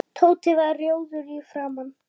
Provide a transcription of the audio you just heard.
Horfir beint fram fyrir sig.